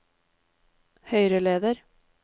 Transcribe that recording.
høyreleder